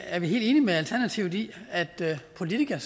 er vi helt enige med alternativet i at politikere